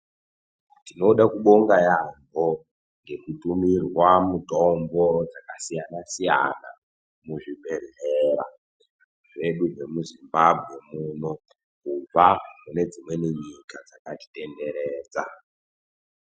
Tinoda kubonga yaambho ngekutumirwa mitombo yakasiyana-siyana muzvibhedhlera zvedu zvemuZimbabwe muno kubva kune dzimweni nyika dzakatitenderedza.